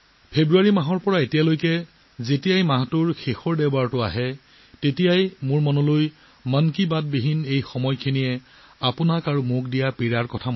ফেব্ৰুৱাৰী মাহৰ পৰা এতিয়ালৈকে যেতিয়াই মাহটোৰ শেষৰ দেওবাৰটো আহিছিল তেতিয়াই আপোনালোকৰ লগত এই বাৰ্তালাপৰ অভাৱ অনুভৱ কৰিছিলোঁ